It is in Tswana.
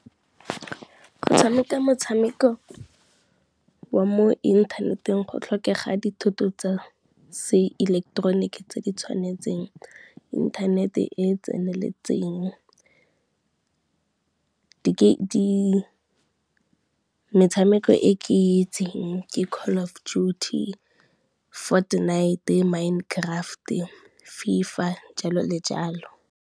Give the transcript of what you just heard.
Go tshameka motshameko wa mo inthaneteng go tlhokega dithuto tsa seileketeroniki tse di tshwanetseng, inthanete e e tseneletseng. Metshameko e ke itseng ke Call of Duty, Fortnite, Mine Craft, FIFA jalo le jalo.